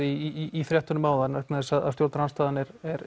í fréttunum áðan vegna þess að stjórnarandstaðan